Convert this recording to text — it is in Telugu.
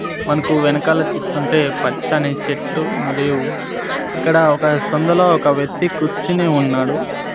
మనకు వెనకాల చూస్తుంటే పచ్చని చెట్లు మరియు ఇక్కడ ఒక సందులో ఒక వ్వక్తి కూర్చొని ఉన్నాడు.